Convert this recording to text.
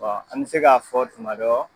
Ɔ an bɛ se k'a fɔ tumadɔ.